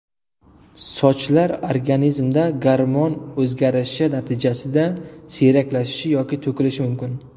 Sochlar organizmda gormon o‘zgarishi natijasida siyraklashishi yoki to‘kilishi mumkin.